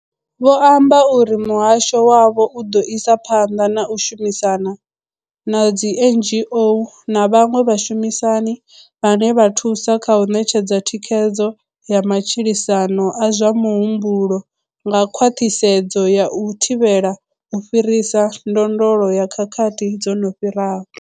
Vho amba uri muhasho wavho u ḓo isa phanḓa na u shumisana na dzi NGO na vhaṅwe vhashumisani vhane vha thusa kha u ṋetshedza thikhedzo ya matshilisano a zwa muhumbulo nga khwaṱhisedzo ya u thivhela u fhirisa ndondolo ya khakhathi dzo no fhiraho.